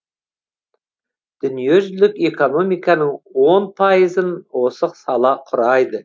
дүниежүзілік экономиканың он пайызын осы сала құрайды